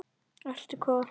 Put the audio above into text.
Ertu hvað?